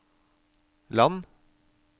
land